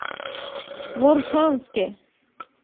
моршанске